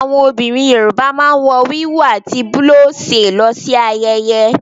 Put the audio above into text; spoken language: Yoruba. Àwọn obìnrin yorùbá máa n wò wíwú ati bulose lọ si ayẹyẹ.